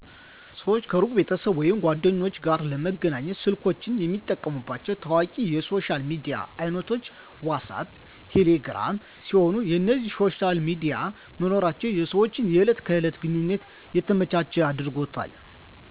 ሰወች ከሩቅ ቤተሰብ ወይም ጓደኞች ጋር ለመገናኘት ስልኮቻቸውን የሚጠቀሙባቸው ታዋቂ የሶሻል ሚዲያ አይነቶች "ዋትስአብ" እና ቴሌ ግራም ሲሆኑ፣ የእነዚህ ሶሻል ሚዲያ መኖራቸው የሰወችን የእለት ከእለት ግንኙነት የተመቸ አድርጎታል።